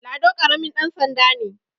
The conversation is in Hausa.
Lado karamin dansanda ne